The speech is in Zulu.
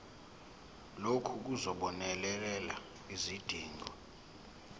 lokhu kuzobonelela izidingo